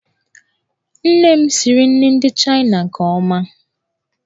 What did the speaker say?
Nne m siri nri ndị Chaịna nke ọma.